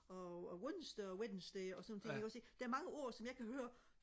og onsdag og wednesday og sådan nogle ting der er mange ord som jeg kan høre